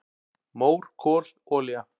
"""Mór, kol, olía"""